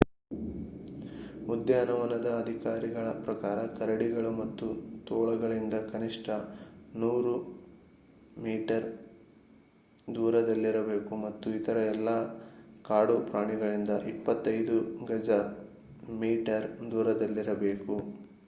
ಉದ್ಯಾನವನದ ಅಧಿಕಾರಿಗಳ ಪ್ರಕಾರ ಕರಡಿಗಳು ಮತ್ತು ತೋಳಗಳಿಂದ ಕನಿಷ್ಠ 100 ಗಜ/ಮೀಟರ್ ದೂರದಲ್ಲಿರಬೇಕು ಮತ್ತು ಇತರ ಎಲ್ಲಾ ಕಾಡು ಪ್ರಾಣಿಗಳಿಂದ 25 ಗಜ/ಮೀಟರ್ ದೂರದಲ್ಲಿರಬೇಕು!